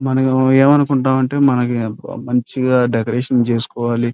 మనం ఏం అనుకుంటాము అంటే మనకి మంచిగా డెకొరేషన్ చేసుకోవాలి --